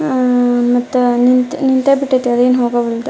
ಅಹ್ ಮತ್ತೆ ನಿಂತೆ ನಿಂತೆ ಬಿಟೈತೆ ಅದೇನ್ ಹೋಗಂಗ್ ಇಲ್ರಿ.